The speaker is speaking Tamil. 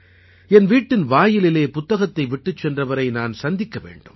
என் வீட்டின் வாயிலிலே புத்தகத்தை விட்டுச் சென்றவரை நான் சந்திக்க வேண்டும்